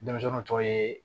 Denmisɛnw tɔ ye